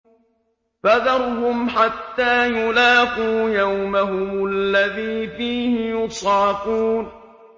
فَذَرْهُمْ حَتَّىٰ يُلَاقُوا يَوْمَهُمُ الَّذِي فِيهِ يُصْعَقُونَ